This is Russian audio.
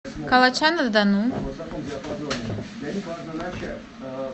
калача на дону